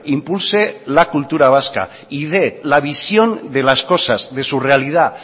impulse la cultura vasca y dé la visión de las cosas de su realidad